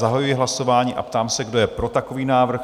Zahajuji hlasování a ptám se, kdo je pro takový návrh?